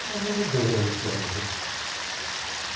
Ela era vendedora no SESI.